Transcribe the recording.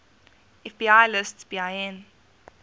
fbi lists bin